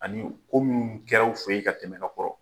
Ani ko minnu kɛra u feyen ka tɛmɛ ka kɔrɔ